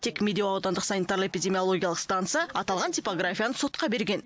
тек медеу аудандық санитарлы эпидемиологиялық станция аталған типографияны сотқа берген